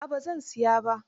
A'a ba zan siyar ba.